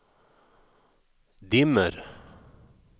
dimmer